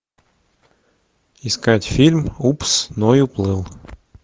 искать фильм упс ной уплыл